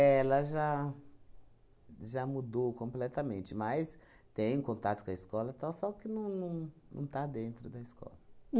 ela já já mudou completamente, mas tem contato com a escola, tal, só que não não não está dentro da escola.